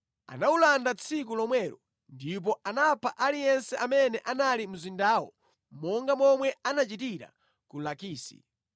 Anawulanda tsiku lomwelo ndipo anapha aliyense amene anali mu mzindawo monga momwe anachitira ku Lakisi.